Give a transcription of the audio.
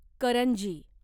करंजी